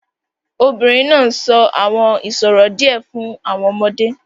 The woman is telling the children some riddles